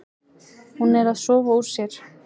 Hún er að sofa úr sér.